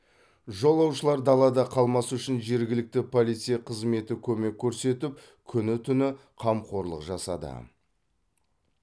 жолаушылар далада қалмас үшін жергілікті полиция қызметі көмек көрсетіп күні түні қамқорлық жасады